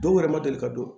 Dɔw yɛrɛ ma deli ka don